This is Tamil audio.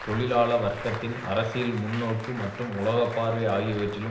தொழிலாள வர்க்கத்தின் அரசியல் முன்னோக்கு மற்றும் உலக பார்வை ஆகியவற்றிலும்